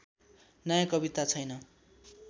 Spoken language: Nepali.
नयाँ कविता छैन